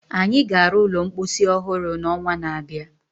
Anyị ga-arụ ụlọ mposi ọhụrụ n'ọnwa na-abịa.